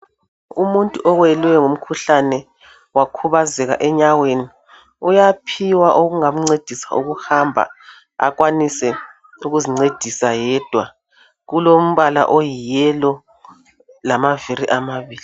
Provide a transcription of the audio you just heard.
Umuntu owelwe ngumkhuhlane wakhubazeķa enyaweni, uyaphiwa okungamncedisa ukuhamba, akwanise ukuzincedisa yedwa. Kulombala oyiyellow lamaviri amabili